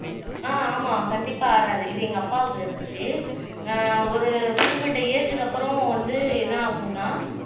ஆஹ் ஆமா கண்டிப்பா ஆறாது இது எங்க அப்பாவுக்கு இருந்துச்சு ஆஹ் ஒரு குறிப்பிட்ட ஏஜ்க்கு அப்புறம் வந்து என்ன ஆகும்னா